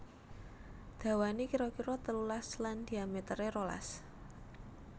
Dawané kira kira telulas lan dhiamétéré rolas